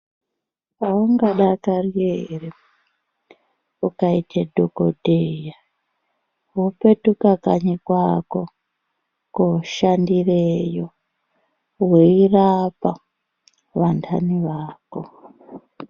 Aungadakari ere , kukaita dhokodheya wopetuka kanyi kwako, koshandireyo , weirapa vantani vako .